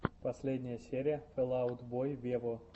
последняя серия фэл аут бой вево